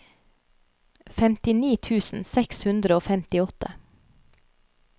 femtini tusen seks hundre og femtiåtte